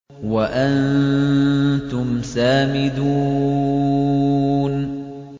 وَأَنتُمْ سَامِدُونَ